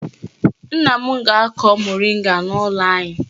Nna m ga-akọ moringa n'ụlọ anyị.